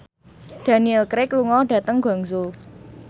Daniel Craig lunga dhateng Guangzhou